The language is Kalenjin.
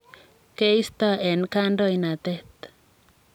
keisto eng kandoinatet.